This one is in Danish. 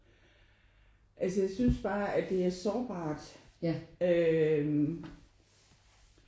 Altså jeg synes bare at det er sårbart øh